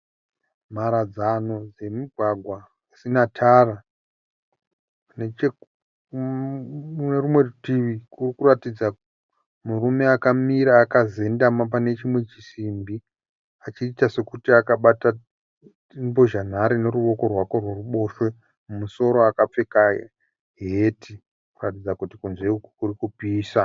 Mharadzano dzemugwagwa usina tara. Nechekune rumwe rutivi kurikutaridza murume akamira akazendama pane chimwe chisimbi achiita sokuti akabata mbozhanhare neruoko rwake rworuboshwe. Mumusoro akapfeka heti kuratidza kuti kunze uku kurikupisa.